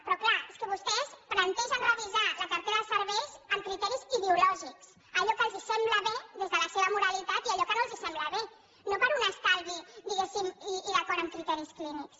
però clar és que vostès plantegen revisar la cartera de serveis amb criteris ideològics allò que els sembla bé des de la seva moralitat i allò que no els sembla bé no per un estalvi diguéssim i d’acord amb criteris clínics